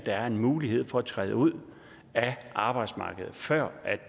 er en mulighed for at træde ud af arbejdsmarkedet før